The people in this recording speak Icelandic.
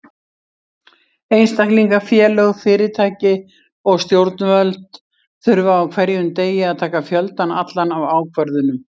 Einstaklingar, félög, fyrirtæki og stjórnvöld þurfa á hverjum degi að taka fjöldann allan af ákvörðunum.